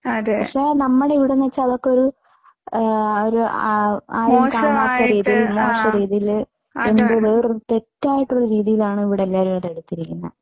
പക്ഷേ നമ്മുടെ ഇവിടെക്കേ അതൊക്കെ ഒരു ഒരു മോശം രീതിയിൽ തെറ്റായിട്ടുള്ള രീതിയിലാണ് ഇവിടെ എല്ലാവരും അതെടുത്തിരിക്കുന്നത്.